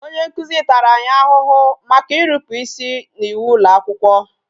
Onye nkuzi tara anyị ahụhụ maka irupu isi n'iwu ụlọakwụkwọ